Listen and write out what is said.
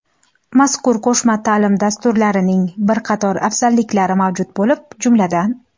Mazkur qo‘shma taʼlim dasturlarining bir qator afzalliklari mavjud bo‘lib, jumladan:.